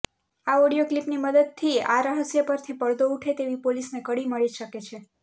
આ ઓડિયો ક્લિપની મદદથી આ રહસ્ય પરથી પડદો ઉઠે તેવી પોલીસને કડી મળી શકે છે